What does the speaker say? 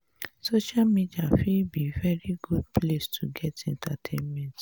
social media fit be very good place to get entertainment